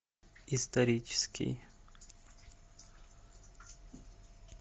исторический